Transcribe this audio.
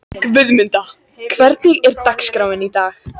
Guðmunda, hvernig er dagskráin í dag?